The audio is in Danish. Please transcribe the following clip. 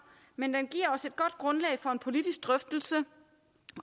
men den giver os et godt grundlag for en politisk drøftelse